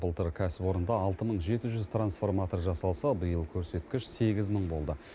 былтыр кәсіпорында алты мың жеті жүз трансформатор жасалса биыл көрсеткіш сегіз мың болды